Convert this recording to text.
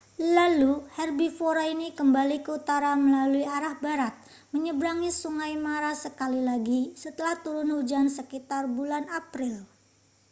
lalu herbivora ini kembali ke utara melalui arah barat menyeberangi sungai mara sekali lagi setelah turun hujan sekitar bulan april